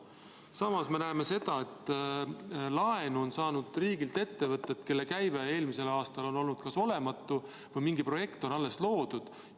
Samas me näeme seda, et riigilt on laenu saanud ettevõtted, kelle käive eelmisel aastal on olnud olematu või on mingi projekt alles loodud.